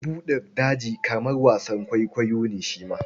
Bukin buɗin daji kamar wasan kwaikwayo ne shi ma.